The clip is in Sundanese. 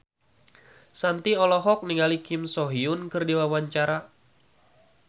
Shanti olohok ningali Kim So Hyun keur diwawancara